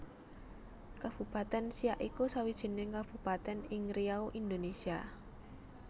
Kabupaten Siak iku sawijining kabupatèn ing Riau Indonésia